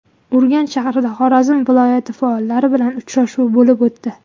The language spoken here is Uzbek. Urganch shahrida Xorazm viloyati faollari bilan uchrashuv bo‘lib o‘tdi.